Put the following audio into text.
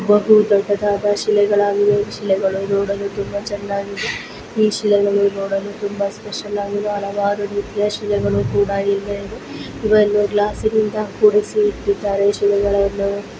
ಇದೊಂದು ದೊಡ್ಡದಾದ ಶಿಲೆಗಳು ಈ ಶಿಲೆಗಳುನೋಡಲು ತುಂಬಾ ಚೆನ್ನಾಗಿ ಈ ಶಿಲೆಗಳು ನೋಡಲು ತುಂಬಾ ಸ್ಪೆಷಲ್ ಆಗಿದೆ ಹಲವಾರು ರೀತಿಯ ಶಿಲೆಗಳು ಇಲ್ಲಿವೆ ಗ್ಲಾಸ್ಸಿ ನಲ್ಲಿ ಕೂಡಿಸಿದ್ದಾರೆ ಶಿಲೆಗಳನ್ನು--